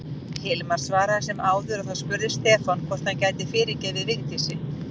Hilmar svaraði sem áður og þá spurði Stefán hvort hann gæti fyrirgefið Vigdísi.